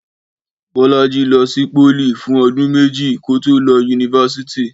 Bọ́lájí lọ sí pólì fún ọdún méjì kó tó lọ yunifásítì